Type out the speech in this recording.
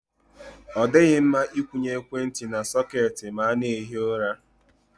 Ọ dịghị mma Ị kwụnye ekwentị na sọketi ma a na-ehi ụra.